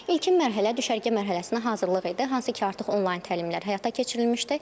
İlkin mərhələ düşərgə mərhələsinə hazırlıq idi, hansı ki artıq onlayn təlimlər həyata keçirilmişdi.